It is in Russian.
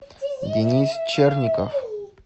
денис черников